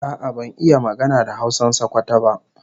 A'a ban iya magana da Hausan Sokoto ba